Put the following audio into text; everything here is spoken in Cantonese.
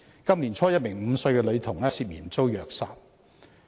今年年初，一名5歲女童涉嫌遭虐殺。